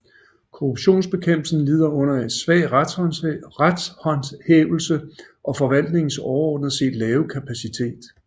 Korruptionsbekæmpelsen lider under svag retshåndhævelse og forvaltningens overordnet set lave kapacitet